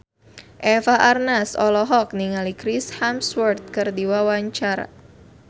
Eva Arnaz olohok ningali Chris Hemsworth keur diwawancara